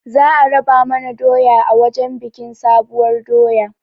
Za a raba mana doya a wajen biƙin sabuwar doya